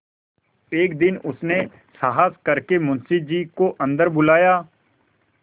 एक दिन उसने साहस करके मुंशी जी को अन्दर बुलाया